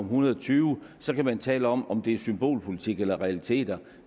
hundrede og tyve så kan man tale om om det er symbolpolitik eller realiteter